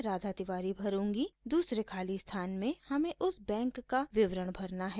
दूसरे खाली स्थान में हमें उस बैंक का विवरण भरना जिसमें खाता है